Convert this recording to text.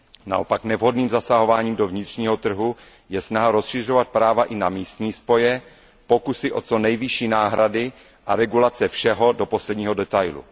Naopak nevhodným zasahování do vnitřního trhu je snaha rozšiřovat práva i na místní spoje, pokusy o co nejvyšší náhrady a regulace všeho do posledního detailu.